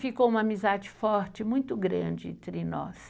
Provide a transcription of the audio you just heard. Ficou uma amizade forte, muito grande entre nós.